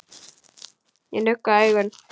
Ég nugga augun.